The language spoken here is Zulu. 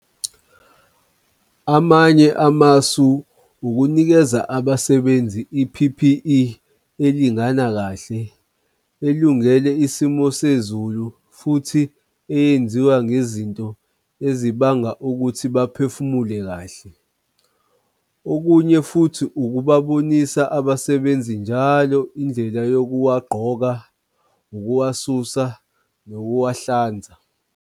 Amanye amasu ukunikeza abasebenzi i-P_P_E elingana kahle elungele isimo sezulu futhi eyenziwa ngezinto ezibanga ukuthi baphefumule kahle. Okunye futhi ukubabonisa abasebenzi njalo indlela yokuwagqoka ukuwasusa nokuwahlanza.